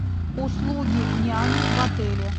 услуги няни в отеле